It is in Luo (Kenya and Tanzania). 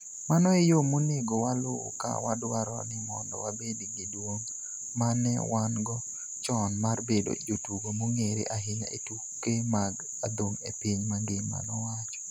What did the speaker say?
Mano e yo monego waluw ka wadwaro ni mondo wabed gi duong' ma ne wan-go chon mar bedo jotugo mong'ere ahinya e tuke mag adhong' e piny mangima," nowacho.